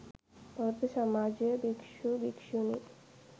බෞද්ධ සමාජය භික්ෂු, භික්ෂුණී,